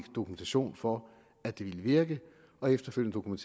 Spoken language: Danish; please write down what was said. dokumentation for at det ville virke og efterfølgende